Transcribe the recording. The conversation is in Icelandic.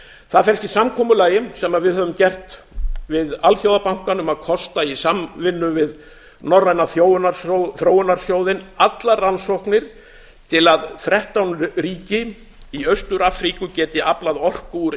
það felst í samkomulagi sem við höfum gert við alþjóðabankann um að kosta í samvinnu við norræna þróunarsjóðinn allar rannsóknir til að þrettán ríki í austur afríku geti aflað orku úr